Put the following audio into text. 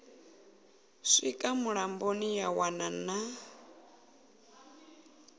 swika mulamboni ya wana na